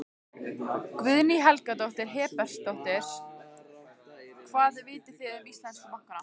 Guðný Helga Herbertsdóttir: Hvað vitið þið um íslensku bankana?